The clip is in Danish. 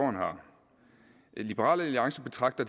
liberal alliance